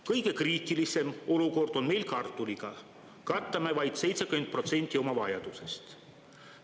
Kõige kriitilisem olukord on meil kartuliga: katame vaid 70 protsenti oma vajadusest.